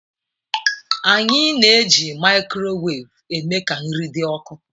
anyị na-eji microwave eme ka nri dị ọkụ.